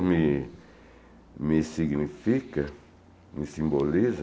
me me significa, me simboliza